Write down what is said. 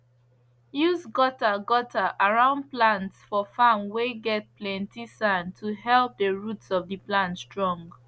use gutter gutter around plants for farm whey get plenty sand to help the root of the plants strong